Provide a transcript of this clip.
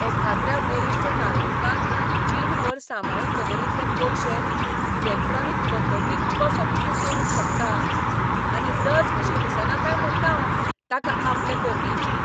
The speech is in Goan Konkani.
एखाद्र्या वरिश्ठ नागरिकान जीणभर सांबाळून दवरिल्ले पयशे इलॅक्ट्रॉनिक पद्दतीन कसो कितें चोरूंक शकता. आनी लज कशी दिसना काय म्हणटा हांव ताका आपले करणेची.